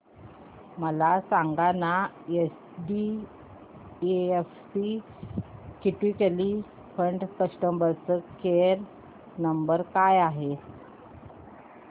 मला सांगाना HDFC equity fund चा कस्टमर केअर क्रमांक काय आहे